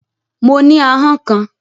Mo ní ahọ́n kan